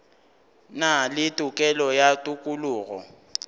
na le tokelo ya tokologo